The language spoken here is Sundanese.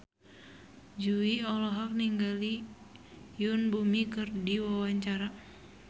Jui olohok ningali Yoon Bomi keur diwawancara